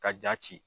Ka ja ci